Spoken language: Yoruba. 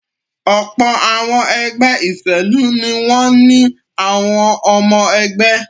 Ọ̀pọ̀ àwọn ẹgbẹ́ ìṣèlú ni wọ́n ní àwọn ọmọ-ẹgbẹ́.